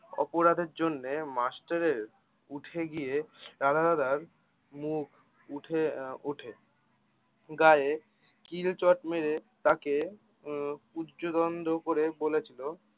অপরাধের জন্য মাষ্টরের উঠে গিয়ে রাধা দাদার মুখ উঠে আহ উঠে গাঁয়ে কিল চড় মেরে তাকে উম উচ্চদন্ড করে বলেছিলো